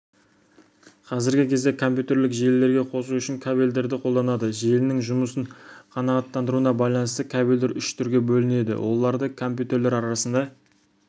қазіргі кезде компьютерлік желілерге қосу үшін кабельдерді қолданады желінің жұмысын қанағаттандыруына байланысты кабельдер үш түрге бөлінеді оларды компьютерлер арасында